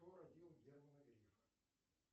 кто родил германа грефа